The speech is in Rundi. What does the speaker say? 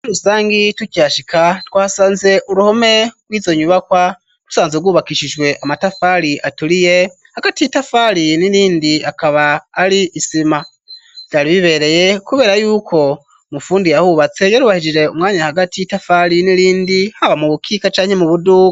Muri rusangi tukihashika twasanze uruhome rw'izo nyubakwa rusanzwe rwubakishijwe amatafari aturiye hagati y'itafari n'irindi akaba ari isima, vyari bibereye kubera yuko umufundi yahubatse yarubahirije umwanya hagati y'itafari n'irindi , haba mu bukika canke mu buduga.